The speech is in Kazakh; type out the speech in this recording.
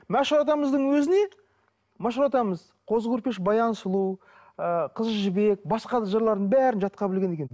мәшһүр атамыздың өзіне мәшһүр атамыз қозы көрпеш баян сұлу ы қызжібек басқа да жырлардың бәрін жатқа білген екен